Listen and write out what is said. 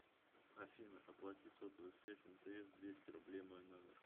афина оплати сотовую связь мтс двести рублей мой номер